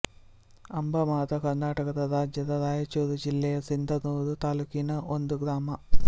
ಅಂಬಾ ಮಾತಾ ಕರ್ನಾಟಕ ರಾಜ್ಯದ ರಾಯಚೂರು ಜಿಲ್ಲೆಯ ಸಿಂಧನೂರು ತಾಲುಕಿನ ಒಂದು ಗ್ರಾಮ